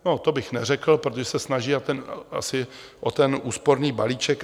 No, to bych neřekl, protože se snaží o ten úsporný balíček.